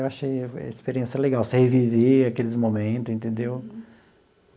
Eu achei a experiência legal, você reviver aqueles momento, entendeu?